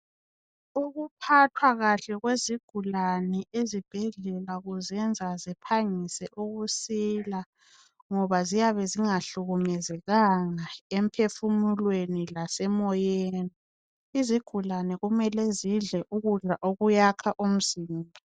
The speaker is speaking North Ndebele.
Ukuphathwa kahle kwezigulane ezibhedlela kuzenza ziphangise ukusila ngoba ziyabe zingahlukumezekanga emphefumulweni lasemoyeni. lzigulane kumele zidle ukudla okuyakha umzimba.